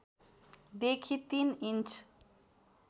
देखि ३ इन्च